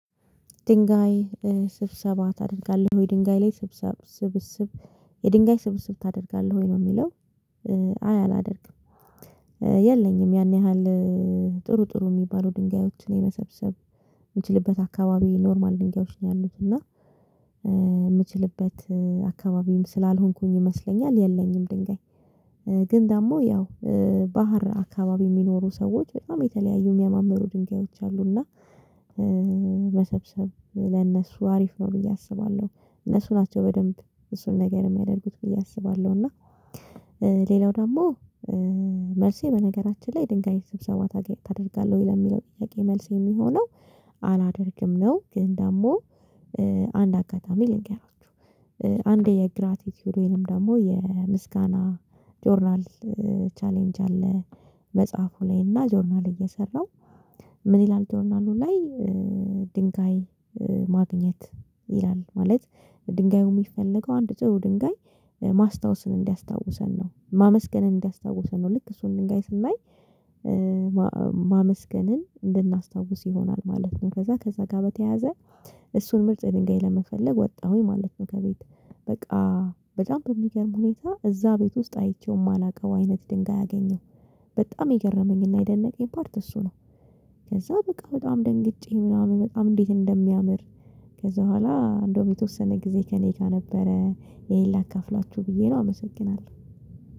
ድንጋይ ስብሰባ ታደርጋለህ ወይ ድንጋይ ላይ ስብሰብ ስብስብ የድንጋይ ስብሰብ ታደርጋለህ ወይ ነው የሚለው? አይ አላደርግም። የለኝም ያን ያህል። ጥሩ ጥሩ የሚባሉ ድንጋዮችን የመሰብሰብ የምችልበት አካባቢ ኖርማል ድንጋዮች ነው ያሉት እና የምችልበት አካባቢም ስላልሆንኩኝ ይመስለኛል የለኝም። ድንጋይ ግን ደግሞ ያው ባህር አካባቢ የሚኖሩ ሰዎች በጣም የተለያዩ የሚያማምሩ ድንጋዮች አሉና። መሰብሰብ ለነሱ አሪፍ ነው ብዬ አስባለሁ እነሱ ናቸው በደንብ እሱን ነገር የምያደርጉት ብዬ አስባለሁ። እና ሌላው ደግሞ መልሴ በነገራችን ላይ ድንጋይ ስብሰባ ታደርጋለህ ወይ ለሚለው ጥያቄ መልስ የሚሆነው አላደርግም ነው። ግን ደግሞ አንድ አጋጣሚ ልገራችሁ። አንድ የግራቲቲዩድ ወይንም ደግሞ የምስጋና ጆርናል ቻሌንጅ አለ። መጽሐፉ ላይ እና ጆርናል እየሰራው ምን ይላል ጆርናሉ ላይ? ድንጋይ ማግኘት ይላል ማለት ድንጋዩ የሚፈልገው አንድ ጥሩ ድንጋይ ማስታወስን እንዲያስታውሰን ነው ማመስገንን እንዲያስታውሰን ነው። ልክ እሱን ድንጋይ ስናይ ማመስገንን እንድናስታውስ ይሆናል ማለት ነው። ከዛ ከዛ ጋር በተያያዘ እሱን ምርጥ ድንጋይ ለመፈለግ ወጣሁኝ ማለት ነው። ከቤት በቃ በጣም በሚገርም ሁኔታ እዛ ቤት ውስጥ አይቼው የማላውቀው አይነት ድንጋይ አገኘሁ። በጣም የገረመኝና የደነቀኝ ፓርት እሱ ነው። ከዛ በቃ በጣም ደንግጬ ምናምን በጣም እንዴት እንደሚያምር። ከዛ በኋላ እንደው የተወሰነ ጊዜ ከእኔ ጋር ነበረ ይሄን ላካፍላችሁ ብዬ ነው አመሰግናለሁ።